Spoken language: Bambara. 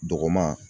Dogoman